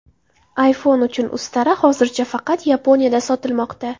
iPhone uchun ustara hozircha faqat Yaponiyada sotilmoqda.